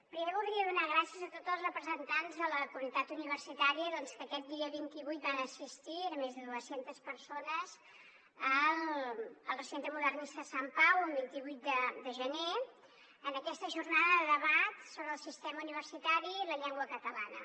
primer voldria donar gràcies a tots els representants de la comunitat universitària que aquest dia vint vuit van assistir eren més de dues centes persones al recinte modernista de sant pau un vint vuit de gener en aquesta jornada de debat sobre el sistema universitari i la llengua catalana